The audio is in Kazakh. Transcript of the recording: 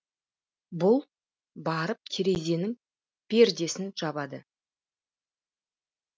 бұл барып терезенің пердесін жабады